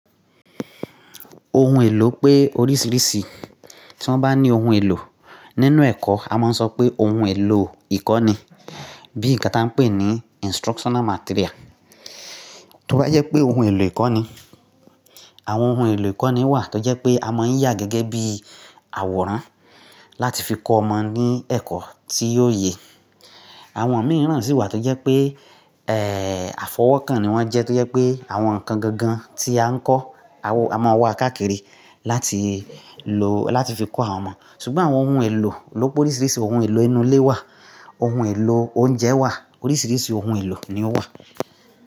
Ohun èlò pé oríṣiríṣi, tí wọ́n bá ní ohun èlò nínú ẹ̀kọ́, a máa ń sọ pé ohun èlò ìkọ́ni bí nǹkan tí a ń pè ní instructional material. Tí ó bá jẹ́ pé ohun èlò ìkọ́ni, àwọn ohun èlò ìkọ́ni wà tó jẹ́ pé a máa ń yà gẹ́gẹ́ bí àwòrán láti fi kọ́ ọmọ ní ẹ̀kọ́ tí yóò yẹ. Àwọn mìíràn sì wà tó jẹ́ pé, ẹ, àfọwọ́kàn ni wọ́n jẹ́ tó jẹ́ pé àwọn nǹkan gangan tí a ń kọ́, a máa wa káàkiri láti lò láti fi kọ́ àwọn ọmọ. Ṣùgbọ́n àwọn ohun èlò ló pe oríṣiríṣi ohun èlò inú ilé wà, ohun èlò oúnjẹ wà, oríṣiríṣi ohun èlò ni ó wà.